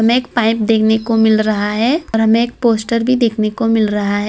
एक पाइप देखने को मिल रहा है और हमें एक पोस्टर भी देखने को मिल रहा है।